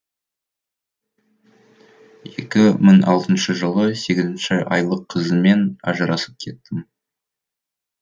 екі мың алтыншы жылы сегізінші айлық қызыммен ажырасып кеттім